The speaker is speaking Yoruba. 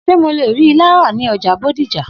S̩e mò lè rí ilá ra ní o̩jà Bódìjà?